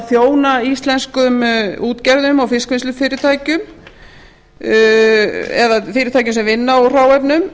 þjóna íslenskum útgerðum og fiskvinnslufyrirtækjum eða fyrirtækjum sem vinna úr hráefnum